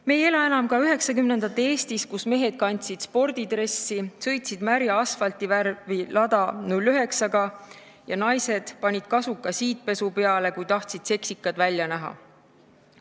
Me ei ela enam ka üheksakümnendate Eestis, kui mehed kandsid spordidressi ja sõitsid märja asfaldi värvi Lada 09-ga ning naised panid kasuka siidpesu peale, kui tahtsid seksikad välja näha.